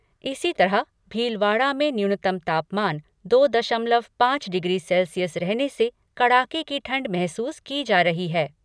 इसी तरह भीलवाड़ा में न्यूनतम तापमान दो दशमलव पाँच डिग्री सेल्सियस रहने से कड़ाके की ठंड महसूस की जा रही हैं।